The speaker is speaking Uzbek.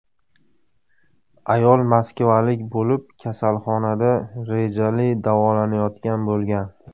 Ayol moskvalik bo‘lib, kasalxonada rejali davolanayotgan bo‘lgan.